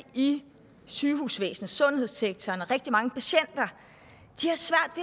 i sygehusvæsenet sundhedssektoren og rigtig mange patienter